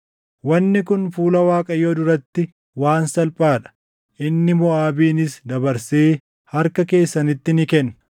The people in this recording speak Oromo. Wanni kun fuula Waaqayyoo duratti waan salphaa dha; inni Moʼaabinis dabarsee harka keessanitti ni kenna.